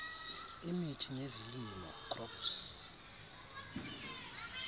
imithi nezilimo crops